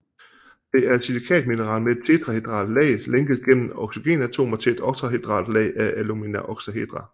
Det er et silikatmineral med et tetrahedralt lag lænket gennem oxygenatomer til et oktahedralt lag af alumina oktahedra